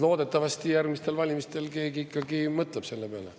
Loodetavasti järgmistel valimistel keegi ikkagi mõtleb selle peale.